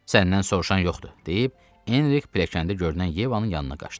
Səndən soruşan yoxdur, deyib Enrik piləkəndə görünən Yevanın yanına qaçdı.